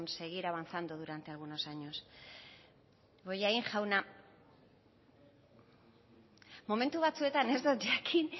seguir avanzando durante algunos años bollain jauna momentu batzuetan ez dut jakin